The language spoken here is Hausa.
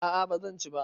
A'a ba zan ci ba.